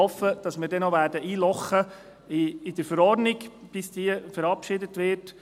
Ich hoffe, dass wir dann bei der Verordnung noch einlochen werden, bis diese verabschiedet wird.